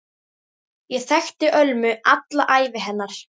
Ég þekkti Ölmu alla ævi hennar.